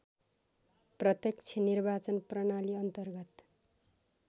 प्रत्यक्ष निर्वाचन प्रणालीअन्तर्गत